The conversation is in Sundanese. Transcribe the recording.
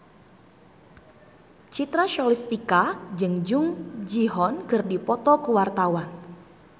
Citra Scholastika jeung Jung Ji Hoon keur dipoto ku wartawan